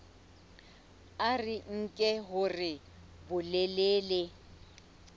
a re nke hore bolelele